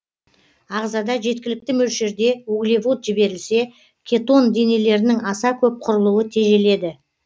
ағзада жеткілікті мөлшерде углевод жіберілсе кетон денелерінің аса көп құрылуы тежеледі